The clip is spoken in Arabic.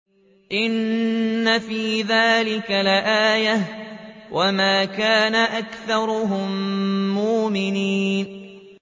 إِنَّ فِي ذَٰلِكَ لَآيَةً ۖ وَمَا كَانَ أَكْثَرُهُم مُّؤْمِنِينَ